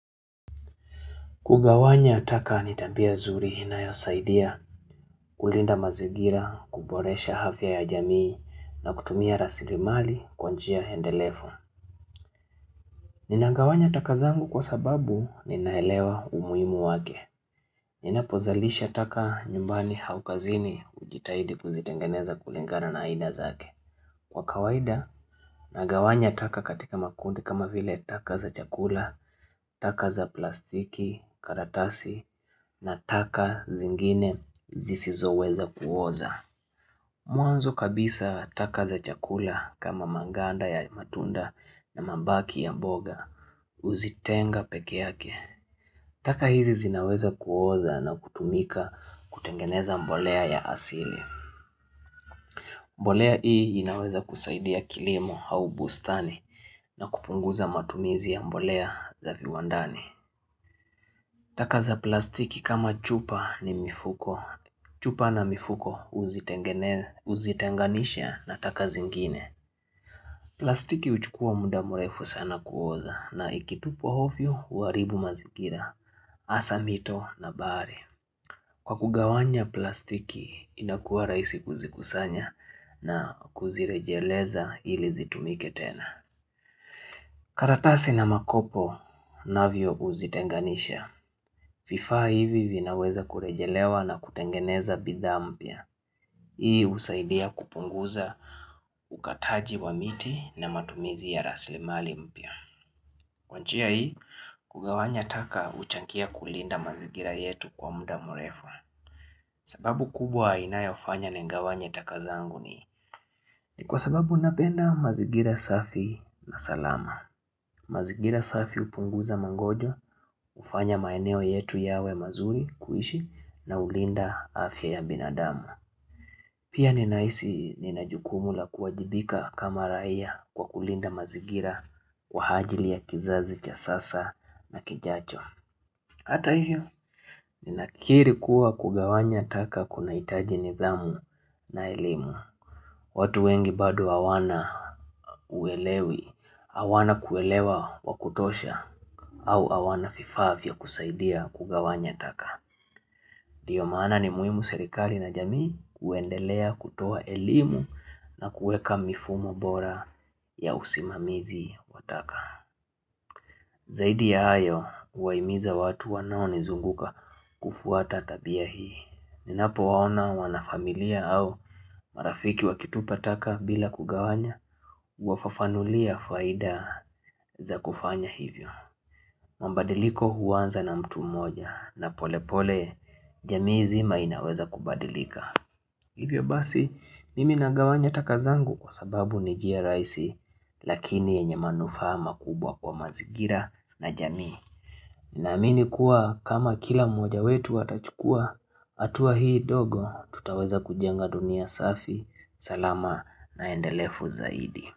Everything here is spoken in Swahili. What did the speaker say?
Kugawanya taka ni tabia zuri inayosaidia, kulinda mazingira, kuboresha afya ya jamii, na kutumia rasili mali kwa njia endelefu. Ninangawanya taka zangu kwa sababu ninaelewa umuhimu wake. Ninapozalisha taka nyumbani au kazini hujitahidi kuzitengeneza kulingana na aina zake. Kwa kawaida nagawanya taka katika makundi kama vile taka za chakula, taka za plastiki, karatasi na taka zingine zisizo weza kuoza. Mwanzo kabisa taka za chakula kama manganda ya matunda na mabaki ya mboga huzitenga peke yake. Taka hizi zinaweza kuoza na kutumika kutengeneza mbolea ya asili. Mbolea hii inaweza kusaidia kilimo au bustani na kupunguza matumizi ya mbolea za viwandani. Takaza plastiki kama chupa ni mifuko. Chupa na mifuko huzitenganisha na taka zingine. Plastiki huchukua muda mrefu sana kuoza na ikitupwa ovyo huharibu mazingira, hasa mito na bahari. Kwa kugawanya plastiki, inakuwa rahisi kuzikusanya na kuzirejeleza ili zitumike tena. Karatasi na makopo navyo huzitenganisha, vifaa hivi vinaweza kurejelewa na kutengeneza bidha mpya. Hii husaidia kupunguza ukataji wa miti na matumizi ya rasilimali mpya. Kwa njia hii, kugawanya taka huchangia kulinda mazingira yetu kwa muda mrefu. Sababu kubwa inayofanya nigawanye taka zangu ni kwa sababu napenda mazingira safi na salama. Mazingira safi hupunguza magonjwa, hufanya maeneo yetu yawe mazuri kuishi na hulinda afya ya binadamu. Pia ninahisi nina jukumu la kuwajibika kama raia kwa kulinda mazingira kwa ajili ya kizazi cha sasa na kijacho. Hata hiyo ninakiri kuwa kugawanya taka kunahitaji nidhamu na elimu. Watu wengi bado hawana uelewi, hawana kuelewa wa kutosha au hawana vifaa vya kusaidia kugawanya taka. Ndiyo maana ni muhimu serikali na jamii kuendelea kutoa elimu na kuweka mifumo bora ya usimamizi wa taka. Zaidi ya hayo, kuwahimiza watu wanaonizunguka kufuata tabia hii. Ninapowaona wanafamilia au marafiki wakitupa taka bila kugawanya, huwafafanulia faida za kufanya hivyo. Mabadiliko huanza na mtu moja na pole pole, jamii zima inaweza kubadilika. Hivyo basi, mimi nagawanya takazangu kwa sababu ni njia rahisi, lakini yenye manufaa makubwa kwa mazingira na jamii. Naamini kuwa kama kila mmoja wetu atachukua, hatua hii ndogo, tutaweza kujenga dunia safi. Salama na endelefu zaidi.